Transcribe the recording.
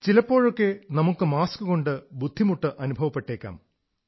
ചിലപ്പോഴൊക്കെ നമുക്ക് മാസ്കുകൊണ്ട് ബുദ്ധിമുട്ട് അനുഭവപ്പെട്ടേക്കാം